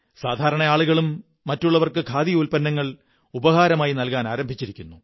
സാധാരണ ആളുകളും മറ്റുള്ളവര്ക്ക്ു ഖാദി ഉത്പന്നങ്ങൾ ഉപഹാരങ്ങളായി നല്കാപനാരംഭിച്ചിരിക്കുന്നു